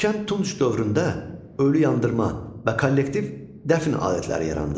Erkən Tunc dövründə ölü yandırma və kollektiv dəfn adətləri yarandı.